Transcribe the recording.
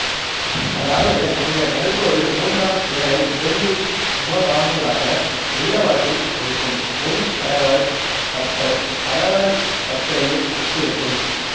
அதாவது அந்த நடுக்கோடு மூன்றாம் விரலை இரண்டு சமபாகங்களாக நீளவாட்டில் பகுக்கும் முன் கடைவாய்ப் பற்கள் கடைவாய்ப் பற்களையே ஒத்திருக்கும்